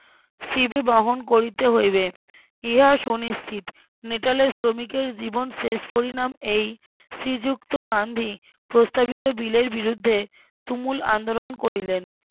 সিধে বহন করিতে হইবে ইহা সুনিশ্চিত নেহালের শ্রমিকের জীবন শেষ পরিণাম এই শ্রীযুক্ত গান্ধী প্রস্তাবিত বিলের বিরুদ্ধে তুমুল আন্দোলন করিলেন